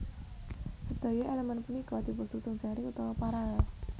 Sedaya elemen punika dipunsusun seri utawi paralel